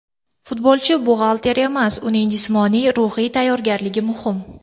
Futbolchi buxgalter emas, uning jismoniy, ruhiy tayyorgarligi muhim.